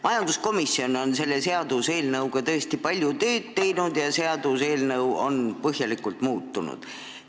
Majanduskomisjon on selle seaduseelnõuga tõesti palju tööd teinud ja eelnõu on põhjalikult muutunud.